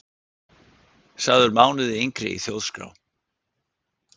Sagður mánuði yngri í Þjóðskrá